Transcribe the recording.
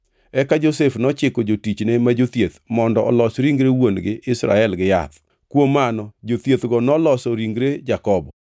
Eka Josef nochiko jotichne ma jothieth mondo olos ringre wuon-gi, Israel gi yath. Kuom mano jothiethgo noloso ringre Jakobo.